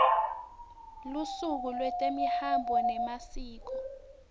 lusuku lwetemihambo nemasiko